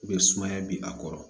sumaya bi a kɔrɔ